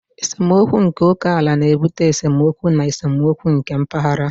Esemokwu nke oke ala na-ebute esemokwu na esemokwu mpaghara.